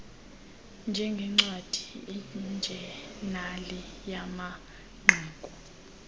njengncwadi ijenali yamanqaku